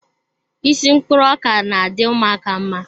Isi mkpụrụ ọka na-adị ụmụaka mma.